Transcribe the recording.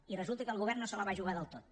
i resulta que el govern no se la va jugar del tot